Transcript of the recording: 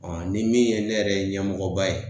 Ɔn ni min ye ne yɛrɛ ɲɛmɔgɔba ye